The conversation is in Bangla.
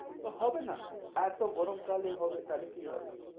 তো হবে না এত গরম কালে হবে, তাহলে কি হবে।